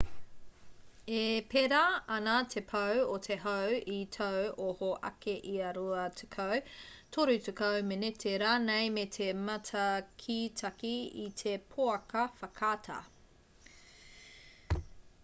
e pērā ana te pau o te hau i tāu oho ake ia rua tekau toru tekau meneti rānei me te mātakitaki i te pouaka whakaata